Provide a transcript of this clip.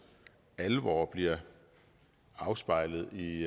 alvor bliver afspejlet i